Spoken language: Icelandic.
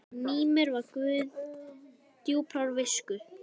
Mímir var guð djúprar visku.